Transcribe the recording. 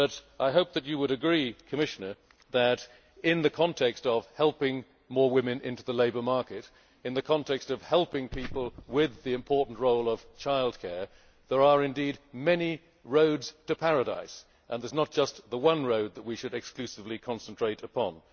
I hope that you will agree, Commissioner, that in the context of helping more women into the labour market, and in the context of helping people with the important role of childcare, that there are indeed many roads to Paradise and there is not just the one road that we should exclusively concentrate upon.